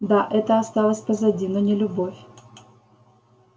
да это осталось позади но не любовь